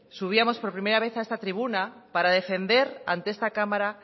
subíamos por primera vez a esta tribuna para defender ante esta cámara